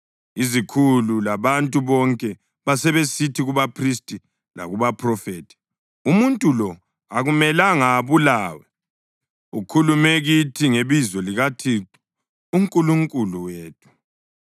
Izikhulu labantu bonke basebesithi kubaphristi lakubaphrofethi, “Umuntu lo akumelanga abulawe! Ukhulume kithi ngebizo likaThixo uNkulunkulu wethu.”